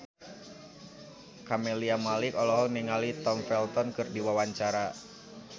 Camelia Malik olohok ningali Tom Felton keur diwawancara